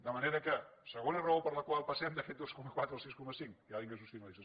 de manera que segona raó per la qual passem d’aquest dos coma quatre al sis coma cinc que hi ha ingressos finalistes